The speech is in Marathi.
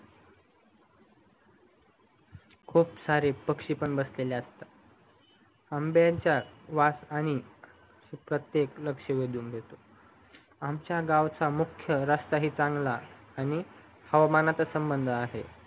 खूप सारे पक्षी पण बसलेले असतता आंब्याचा वास आणि प्रत्तेकच लक्ष वेधून घेतो आमचा गावचा मुख्य रास्ता ही चांगला आणि हवामानाचा संबंध आहे